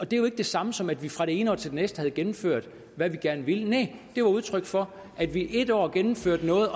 det er jo ikke det samme som at vi fra det ene år til det næste havde gennemført hvad vi gerne ville næh det var udtryk for at vi et år gennemførte noget